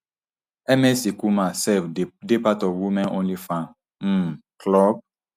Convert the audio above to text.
ms icumar sef dey part of women only fan um club